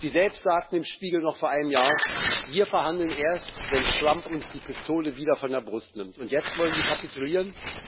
Sie selbst sagten im Spiegel noch vor einem Jahr Wir verhandeln erst, wenn Trump uns die Pistole wieder von der Brust nimmt, und jetzt wollen sie kapitulieren?